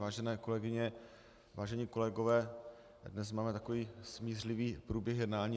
Vážené kolegyně, vážení kolegové, dnes máme takový smířlivý průběh jednání.